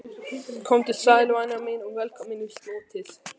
Komdu sæl, væna mín, og velkomin í slotið.